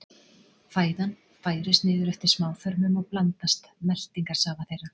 Fæðan færist niður eftir smáþörmum og blandast meltingarsafa þeirra.